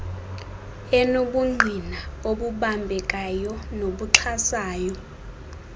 enobungqina obubambekayo nobuxhasayo